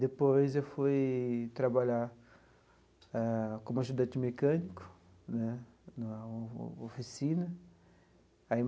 Depois, eu fui trabalhar ah como ajudante de mecânico né na oficina aí.